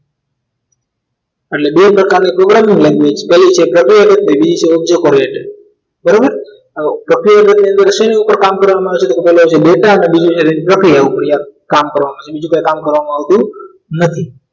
એટલે બે પ્રકારની programming language પહેલી છે પ્રક્રિયા જક અને બીજી છે object oriented બરોબર હવે પ્રક્રિયાજક ઉપર શેની ઉપર કામ કરવામાં આવે છે કે બોલો જે data અને બીજું પ્રક્રિયા ઉપરાંત કામ કરવામાં આવે છે બીજું કોઈ કામ કરવામાં આવતું નથી